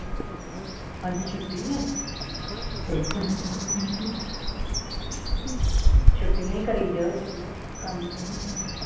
ਅੱਜ ਛੁੱਟੀ ਹੈ ਛੁਟੀਆਂ ਹੀ ਕਰੀ ਜਾਓ ਚੰਗਾ ਕੰਮ ਤੇ ਨਾ ਜਾਇਓ